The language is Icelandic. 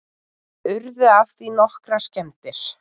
Urðu af því nokkrar skemmdir